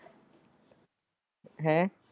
ਹੈਂ?